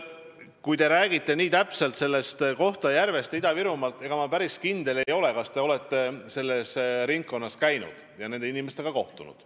Nüüd, te räägite nii konkreetselt Kohtla-Järvest ja Ida-Virumaast, aga ma päris kindel ei ole, kas te olete selles ringkonnas käinud ja nende inimestega kohtunud.